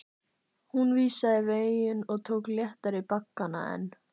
Hún vísaði veginn og tók léttari baggana en